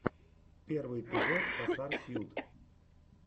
первый эпизод косарсьют